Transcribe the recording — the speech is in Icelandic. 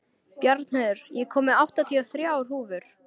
Bjarnheiður, ég kom með áttatíu og þrjár húfur!